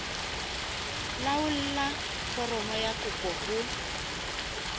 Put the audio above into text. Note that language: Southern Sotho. laolla foromo ya kopo ho